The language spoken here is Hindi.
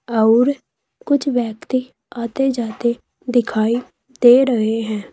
अउर कुछ व्यक्ति आते जाते दिखाई दे रहे है।